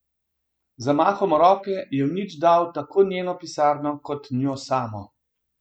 Z zamahom roke je v nič dal tako njeno pisarno kot njo samo.